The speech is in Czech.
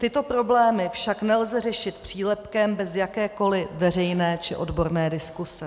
Tyto problémy však nelze řešit přílepkem bez jakékoli veřejné či odborné diskuse.